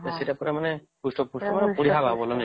ସେଟା ପୁରା ମାନେ ହୃଷ୍ଟ ପୃଷ୍ଟ ପୁରା ବଢିଆ ହେବ ନାଇଁ କି